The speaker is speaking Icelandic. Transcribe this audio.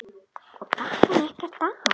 Og datt hann ekkert af?